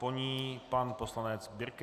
Po ní pan poslanec Birke.